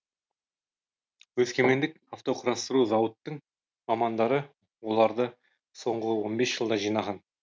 өскемендік автоқұрастыру зауытының мамандары оларды соңғы он бес жылда жинаған